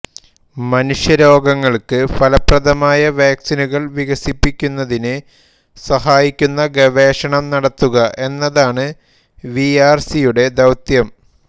മനുഷ്യരോഗങ്ങൾക്ക് ഫലപ്രദമായ വാക്സിനുകൾ വികസിപ്പിക്കുന്നതിന് സഹായിക്കുന്ന ഗവേഷണം നടത്തുക എന്നതാണ് വിആർസിയുടെ ദൌത്യം